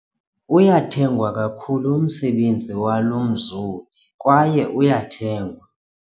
Uyathengwa kakhulu umsebenzi walo mzobi kwaye uyathengwa.